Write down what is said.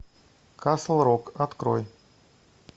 касл рок открой